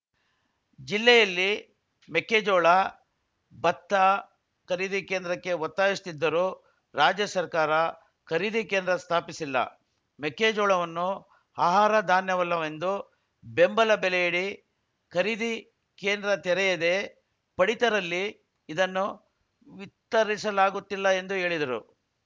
ಜಿಲ್ಲೆಯಲ್ಲಿ ಮೆಕ್ಕೆಜೋಳ ಬತ್ತ ಖರೀದಿ ಕೇಂದ್ರಕ್ಕೆ ಒತ್ತಾಯಿಸುತ್ತಿದ್ದರೂ ರಾಜ್ಯ ಸರ್ಕಾರ ಖರೀದಿ ಕೇಂದ್ರ ಸ್ಥಾಪಿಸಿಲ್ಲ ಮೆಕ್ಕೆಜೋಳವನ್ನು ಆಹಾರ ಧಾನ್ಯವಲ್ಲವೆಂದು ಬೆಂಬಲ ಬೆಲೆಯಡಿ ಖರೀದಿ ಕೇಂದ್ರ ತೆರೆಯದೇ ಪಡಿತರಲ್ಲಿ ಇದನ್ನು ವಿತ್ತರಿಸಲಾಗುತ್ತಿಲ್ಲ ಎಂದು ಹೇಳಿದರು